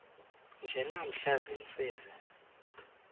nje namhla ziintsizi